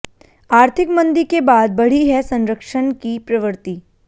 आर्थिक मंदी के बाद बढ़ी है संरक्षण की प्रवृत्ति